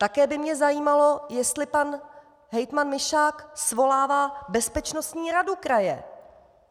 Také by mě zajímalo, jestli pan hejtman Mišák svolává bezpečnostní radu kraje.